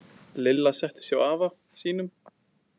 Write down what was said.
Lilla settist hjá afa sínum.